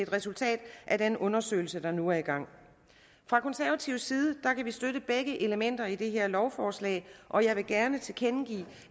resultat af den undersøgelse der nu er i gang fra konservativ side kan vi støtte begge elementer i det her lovforslag og jeg vil gerne tilkendegive